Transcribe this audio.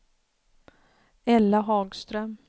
Ella Hagström